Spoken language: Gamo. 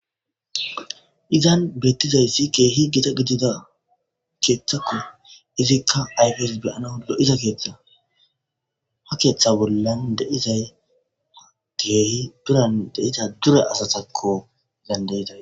Izan beettizayssi keehi gita gidida keeththakko izikka ayfes beyanalo'iza keeththa ha keeththa bollan deizay geehi biran deiza dure asatakko gandayizay.